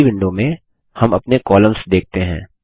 अगली विंडो में हम अपने कॉलम्स देखते हैं